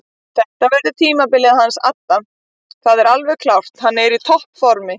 Þetta verður tímabilið hans adda það er alveg klárt hann er í toppformi.